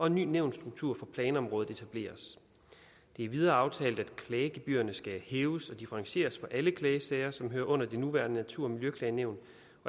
en ny nævnsstruktur for planområdet det er videre aftalt at klagegebyrerne skal hæves og differentieres for alle klagesager som hører under det nuværende natur og miljøklagenævn